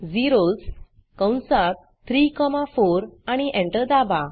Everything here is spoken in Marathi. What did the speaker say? झेरोस कंसात 3 कॉमा 4 आणि एंटर दाबा